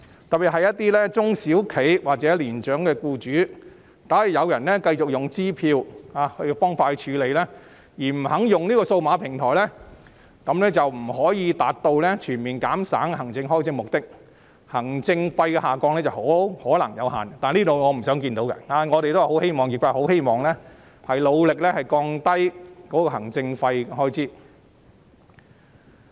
特別是一些中小企或年長僱主，假如有人繼續用支票方式處理而不肯轉用數碼平台，便不能達到全面減省行政開支的目的，行政費用下降的可能性有限，這是我們不想看到的，業界已很努力希望降低行政費用開支。